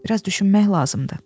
Biraz düşünmək lazımdır.